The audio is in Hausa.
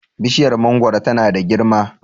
bishiyar mangoro tana da girma